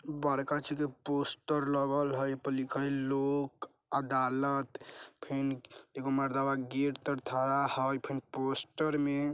बड़का चीज के पोस्टर लगल हई ए पर लिखल हई लोक अदालत फेन एगो मरदवा गेट तर ठरा हई फेन पोस्टर में --